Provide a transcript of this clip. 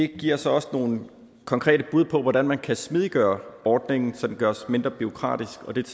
giver så også nogle konkrete bud på hvordan man kan smidiggøre ordningen så den gøres mindre bureaukratisk og det